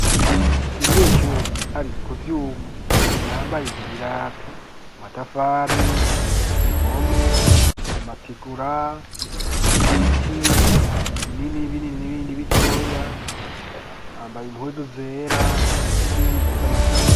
umunyeshuri ari ku vyuma yambaye ibirato, amatafari, impome, amatigura, ibiti binini binini n'ibindi bitoya, yambaye impuzu zera n'izindi zisa na kaki.